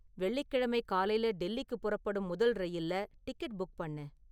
வெள்ளிக்கிழமை காலைல டெல்லிக்குப் புறப்படும் முதல் ரயில்ல டிக்கெட் புக் பண்ணு